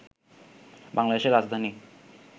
বাংলাদেশের রাজধানী